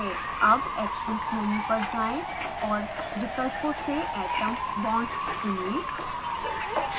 अब actions menu पर जाएँ और विकल्पों से atoms/bonds चुनें